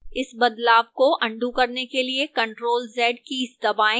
इस बदलाव को अन्डू करने के लिए ctrl + z कीज दबाएं